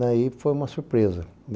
Daí foi uma surpresa.